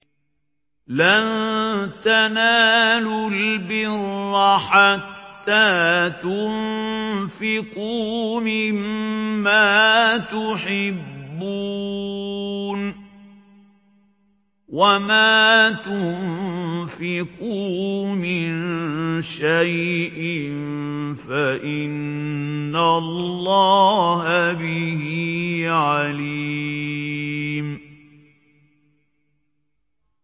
لَن تَنَالُوا الْبِرَّ حَتَّىٰ تُنفِقُوا مِمَّا تُحِبُّونَ ۚ وَمَا تُنفِقُوا مِن شَيْءٍ فَإِنَّ اللَّهَ بِهِ عَلِيمٌ